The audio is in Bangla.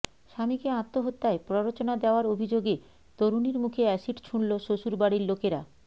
স্বামীকে আত্মহত্যায় প্ররোচনা দেওয়ার অভিযোগে তরুণীর মুখে অ্যাসিড ছুঁড়ল শ্বশুরবাড়ির লোকেরা